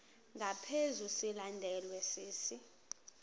ngaphezu silandelwa sisi